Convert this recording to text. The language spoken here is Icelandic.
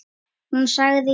Hún sagði já.